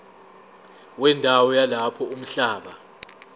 wendawo yalapho umhlaba